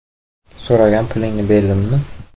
So‘ragan pulingni berdimmi?